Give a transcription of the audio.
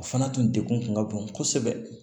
O fana tun degun kun ka bon kosɛbɛ